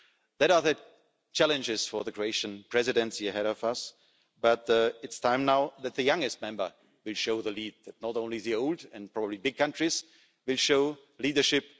These are the challenges for the Croatian Presidency ahead of us. But it is time now that the youngest member will show the lead, that not only the old and probably big countries will show leadership.